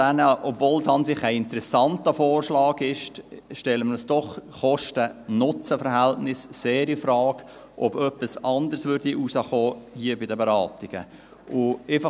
Obwohl es eigentlich ein interessanter Vorschlag ist, stellen wir doch das Kosten-Nutzen-Verhältnis sehr infrage, dahingehend, ob hier bei den Beratungen etwas anderes resultieren würde.